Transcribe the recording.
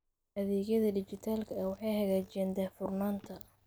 Adeegyada dijitaalka ah waxay hagaajiyaan daahfurnaanta.